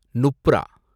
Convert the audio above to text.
Nubra